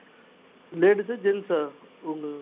ladies ஆ gents ஆ அவங்க